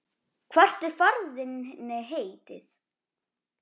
Hvert er ferð þinni heitið?